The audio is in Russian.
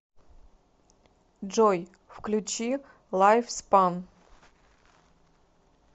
джой включи лайфспан